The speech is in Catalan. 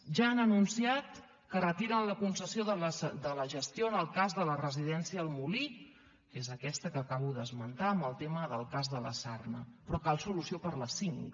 ja han anunciat que retiren la concessió de la gestió en el cas de la residència el molí que és aquesta que acabo d’esmentar pel tema del cas de la sarna però cal solució per a les cinc